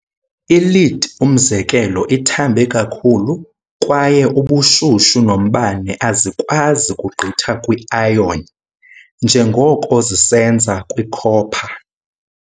I-Lead, umzekelo, ithambe kakhulu, kwaye ubushushu nombane azikwazi kugqitha kwi-iron njengoko zisenza kwi-copper.